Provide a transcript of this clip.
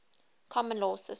common law systems